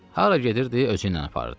Hara gedirdi özü ilə aparırdı.